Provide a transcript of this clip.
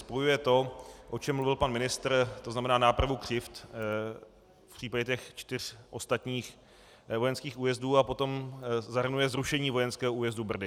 Spojuje to, o čem mluvil pan ministr, to znamená nápravu křivd v případě těch čtyř ostatních vojenských újezdů, a potom zahrnuje zrušení vojenského újezdu Brdy.